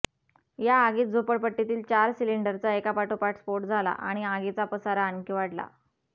या आगीत झोपडपट्टीतील चार सिलिंडरचा एकापाठोपाठ स्फोट झाला आणि आगीचा पसारा आणखी वाढला